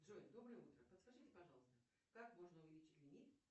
джой доброе утро подскажите пожалуйста как можно увеличить лимит